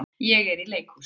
Ég er í leikhúsi.